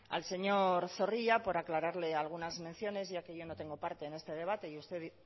al señor zorrilla por aclararle algunas menciones ya que hoy no tengo parte en este debate y usted